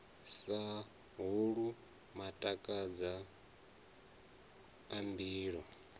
sa holwu matakadza a mbilu